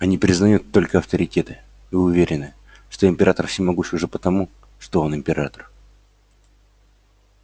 они признают только авторитеты и уверены что император всемогущ уже потому что он император